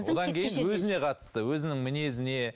одан кейін өзіне қатысты өзінің мінезіне